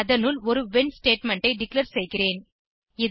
அதனுள் ஒரு when statement ஐ டிக்ளேர் செய்கிறேன்